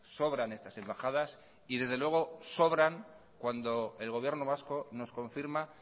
sobran estas embajadas y desde luego sobran cuando el gobierno vasco nos confirma